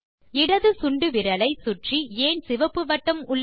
இடது சுண்டு விரலை சுற்றி ஏன் சிவப்பு வட்டம் உள்ளது